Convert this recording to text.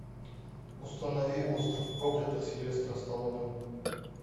установи остров проклятых сильвестра сталлоне